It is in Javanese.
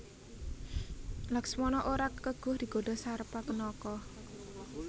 Laksmana ora keguh digodha Sarpakenaka